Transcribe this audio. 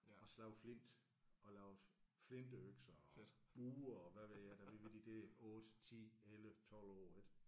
Og slog flint og lavede flintøkser og buer og hvad ved jeg da vi var de der 8 10 11 12 år ik